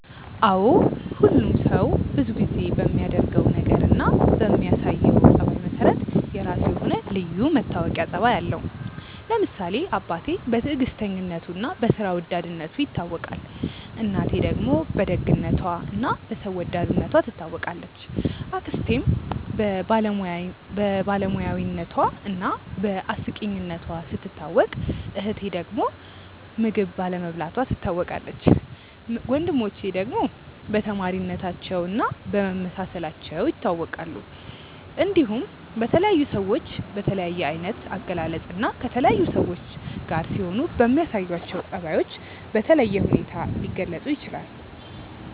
አዎ ሁሉም ሰው ብዙ ጊዜ በሚያደርገው ነገር እና በሚያሳየው ጸባይ መሰረት የራሱ የሆነ ልዩ መታወቂያ ጸባይ አለው። ለምሳሌ አባቴ በትዕግስተኝነቱ እና በስራ ወዳድነቱ ይታወቃል፣ እናቴ ደግሞ በደግነቷ እና በሰው ወዳድነቷ ትታወቃለች፣ አክስቴም በባለሙያነቷ እና በአስቂኝነቷ ስትታወቅ እህቴ ዳግም ምግብ ባለመብላቷ ትታወቃለች፣ ወንድሞቼ ደግሞ በተማሪነታቸው እና በመመሳሰላቸው ይታወቃሉ። እንዲሁም በተለያዩ ሰዎች በተለያየ አይነት አገላለጽ እና ከተለያዩ ሰዎች ጋር ሲሆኑ በሚያሳዩአቸው ጸባዮች በተለየ ሁኔታ ሊገለጹ ይችላል።